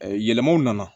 yɛlɛmaw nana